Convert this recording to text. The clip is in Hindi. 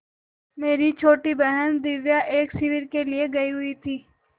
मेरी छोटी बहन दिव्या एक शिविर के लिए गयी हुई थी